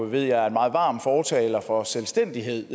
ved jeg er en meget varm fortaler for selvstændighed